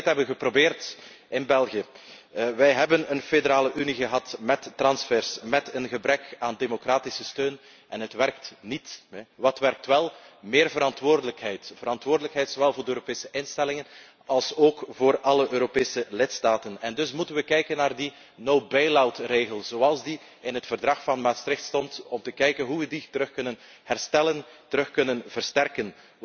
Omdat wij het hebben geprobeerd in België. Wij hebben een federale unie gehad met transfers, met een gebrek aan democratische steun en dat werkt niet. Wat wel werkt is meer verantwoordelijkheid, verantwoordelijkheid zowel voor de Europese instellingen alsook voor alle Europese lidstaten en dus moeten we kijken naar die no bailout regel zoals we die in het Verdrag van Maastricht hadden we moeten zien of en hoe we die weer kunnen herstellen, weer kunnen versterken.